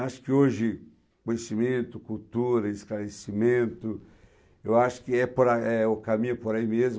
Acho que hoje conhecimento, cultura, esclarecimento, eu acho que é por a... eh, o caminho é por aí mesmo.